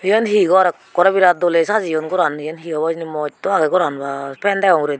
eyan he gor ekkore virat dole sajiyon goran eyen he obo hijeni mosto aage goran ba fan degong uguredi.